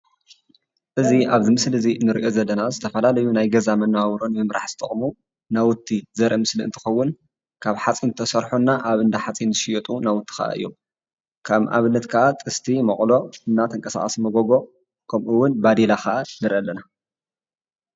እዚ ኣብዚ ምስሊ ንሪኦ ዘለና ዝተፈላለዩ ናይ ገዛ መነባብሮ ንምምራሕ ዝጠቕሙ ናውቲ ዘርኢ ምስሊ እንትኸውን ካብ ሓፂን ተሰርሑ እና ኣብ እንዳ ሓፂን ዝሽየጡ ናውቲ ከዓ እዮም፡፡ ከም ኣብነት ከዓ ጥስቲ፣ መቑሎ፣ እና ተንቀሳቓሲ መጎጎ ከምኡውን ባዴላ ከዓ ንርኢ ኣለና፡፡